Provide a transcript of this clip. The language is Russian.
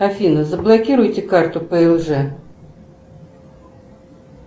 афина заблокируйте карту плж